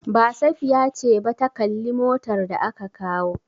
Ba, Safiya ce ba ta kalli motar da aka kawo.